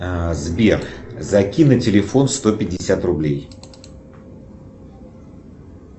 сбер закинь на телефон сто пятьдесят рублей